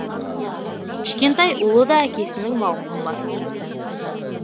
кішкентай ұлы да әкесінің мауқын басты